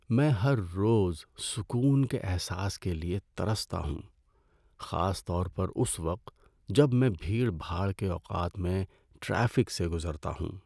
میں ہر روز سکون کے احساس کے لیے ترستا ہوں، خاص طور پر اس وقت جب میں بھیڑ بھاڑ کے اوقات میں ٹریفک سے گزرتا ہوں۔